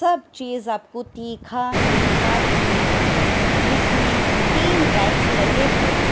सब चीज आपको तीखा मीठा देखने को है इसमें तीन रेक्स लगे हुए हैं।